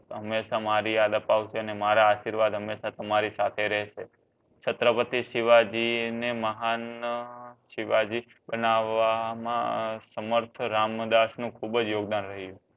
હમેશા મારી યાદ આપવાસે ને મારા આશીર્વાદ હમેશા તમારી સાથે રહસે છત્રપતિ શિવજી ને મહાન શિવજી બનાવવા સમર્થ રામદાસ નું ખુબજ યોગદાન રહ્યું